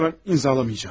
İstəmirəm, imzalamayacağam.